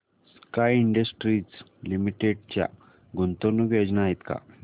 sky Industries Limited च्या गुंतवणूक योजना आहेत का